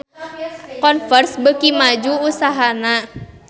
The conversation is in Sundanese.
Converse beuki maju usahana